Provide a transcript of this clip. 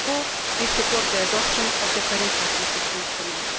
Therefore we support the adoption of the current Partnership Instrument.